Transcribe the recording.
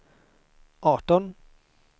arton